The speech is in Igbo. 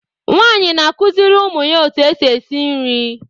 Nwaanyị na-akụziri ụmụ ya otú e si esi nri.